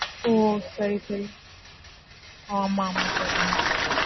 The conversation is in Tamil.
ஓ சரி, சரி. ஆமா, ஆமா sir.